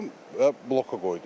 və bloka qoydum.